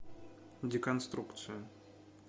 деконструкция